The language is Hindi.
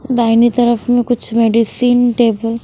दाहिनी तरफ में कुछ मेडिसिन टेबल --